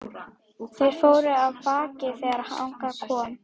Þeir fóru af baki þegar þangað kom.